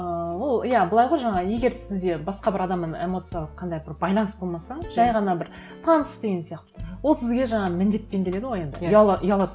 ыыы ол иә былай ғой жаңағы егер сізде басқа бір адаммен эмоциялық қандай бір байланыс болмаса жай ғана бір таныс деген сияқты ол сізге жаңағы міндетпен келеді ғой енді ұялады